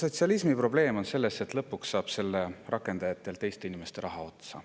No sotsialismi probleem on selles, et lõpuks saab selle rakendajatel teiste inimeste raha otsa.